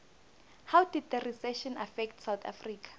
how did the recession affect south africa